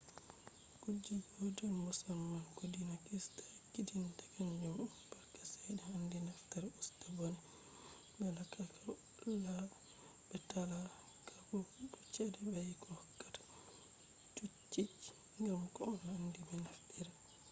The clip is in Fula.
kuje gotel musamman ko dina krista ekkitinta kanjum on barka chede handi nafftra usta bone be talakaku bo chede baiko hokkata chochi gam do on handi be naftira